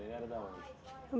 Ele era de onde?